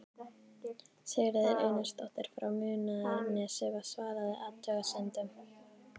Sigríður Einarsdóttir frá Munaðarnesi svaraði athugasemdum